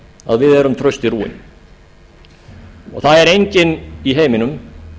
að við erum trausti rúin það er enginn í heiminum